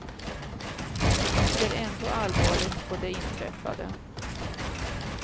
De ser ändå allvarligt på det inträffade.